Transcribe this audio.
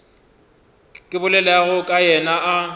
ke bolelago ka yena a